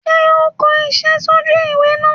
Sé o n ko isé sójú ìwé náà